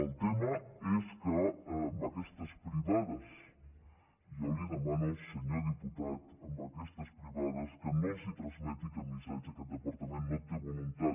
el tema és que a aquestes privades jo li demano senyor diputat a aquestes privades que no els transmeti aquest missatge que el departament no té voluntat